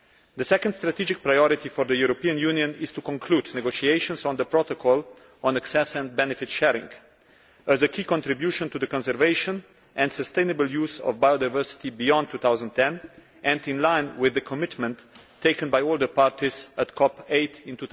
The second strategic priority for the European Union is to conclude negotiations on the Protocol on access and benefit sharing as a key contribution to the conservation and sustainable use of biodiversity beyond 2010 and in line with the commitment taken by all the parties at COP 8 in